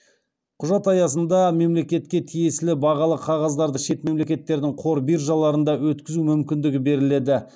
құжат аясында мемлекетке тиесілі бағалы қағаздарды шет мемлекеттердің қор биржаларында өткізу мүмкіндігі беріледі